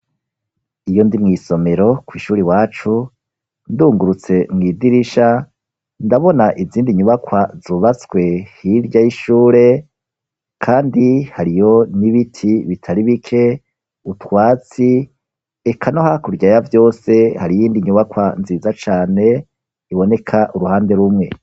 Iyo ndi mw’isomero kw’ishure iwacu, ndungurutse mw’idirisha, ndabona izindi nyubakwa zubatswe hirya y'ishure, kandi hariyo n'ibiti bitari bike, utwatsi eka no hakurya ya vyose, hari iyindi nyubakwa nziza cane, iboneka uruhande rumwe.